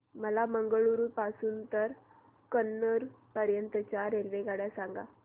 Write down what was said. मला मंगळुरू पासून तर कन्नूर पर्यंतच्या रेल्वेगाड्या सांगा